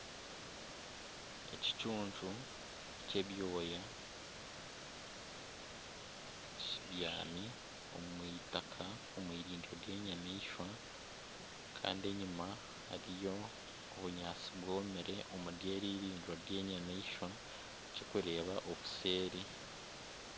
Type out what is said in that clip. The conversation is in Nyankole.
Ekicuncu ky'ebyoya kibyami omu eitaka omu eirindiro ry'enyamaishwa kandi enyima hariyo obunyaatsi bwomire omuri eri eirindiro ry'enyamaishwa kirikureeba obuseeri.